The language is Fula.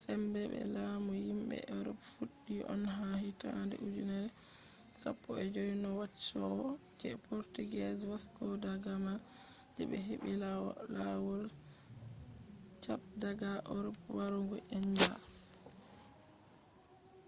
sembe be lamu yimbe erop fuddi on ha hittande ujenere 15 no wanchowo je portuguese vasco da gama je be heɓɓi ha lawol cape daga erop warugo india